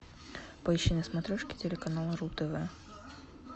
поищи на смотрешке телеканал ру тв